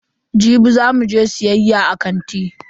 Jibi za mu je siyayya a kanti.